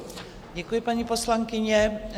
Děkuji, paní poslankyně.